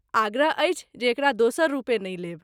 आग्रह अछि जे एकरा दोसर रूपे नहि लेब।